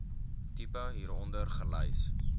tipe hieronder gelys